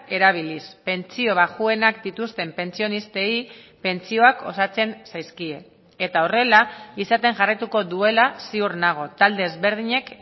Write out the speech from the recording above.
erabiliz pentsio baxuenak dituzten pentsionistei pentsioak osatzen zaizkie eta horrela izaten jarraituko duela ziur nago talde ezberdinek